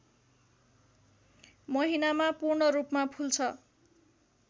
महिनामा पूर्ण रूपमा फुल्छ